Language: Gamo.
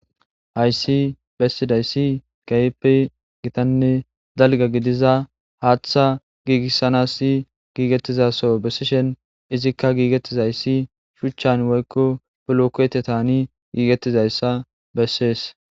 Hayis besizays kehipe gittane daliga gidiza hatha gigisanas gigetiza so besishe izika gigizayis shuchan woyiko bolokotyan gigetizayisa beses